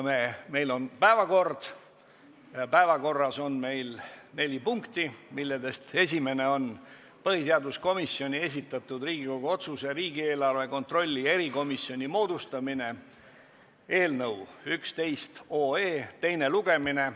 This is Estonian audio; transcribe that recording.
Meil on päevakord ja päevakorras on neli punkti, millest esimene on põhiseaduskomisjoni esitatud Riigikogu otsuse "Riigieelarve kontrolli erikomisjoni moodustamine" eelnõu teine lugemine.